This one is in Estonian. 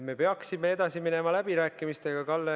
Me peaksime läbirääkimistega edasi minema.